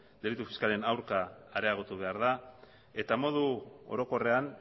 delitu fiskalen aurka areagotu behar da eta modu orokorrean